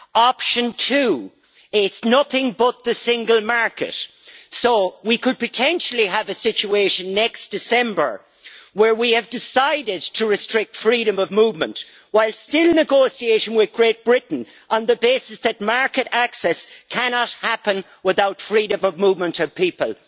Option two is nothing but the single market, so we could potentially have a situation next December where we have decided to restrict freedom of movement whilst still negotiating with Great Britain on the basis that market access cannot happen without freedom of movement of people.